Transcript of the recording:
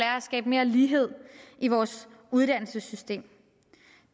at skabe mere lighed i vores uddannelsessystem